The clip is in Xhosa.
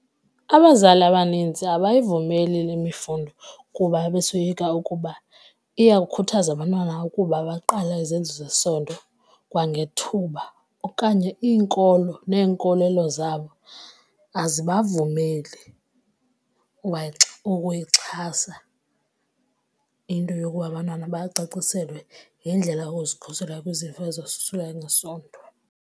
Abazali abanintsi abayivumeli le mifundo kuba besoyika ukuba iyawukhuthaza abantwana ukuba baqale ezenzo zesondo kwangethuba okanye iinkolo neenkolelo zabo azibavumeli ukuyixhasa into yokuba abantwana bacaciselwe ngendlela yokuzikhusela kwizifo ezosulela ngesondo.